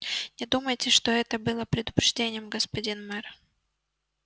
не думайте что это было предупреждением господин мэр